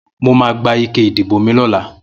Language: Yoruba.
Mó mà gbá iké idibó mi lọ̀là